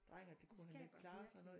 Dreng og det kunne han ikke klare og sådan noget